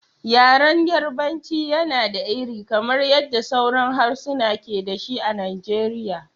Yaren Yarbanci yana da iri, kamar yadda sauran harsuna ke da shi a Najeriya.